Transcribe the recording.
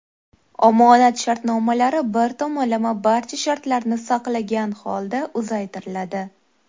Omonat shartnomalari bir tomonlama barcha shartlarni saqlagan holda uzaytiriladi.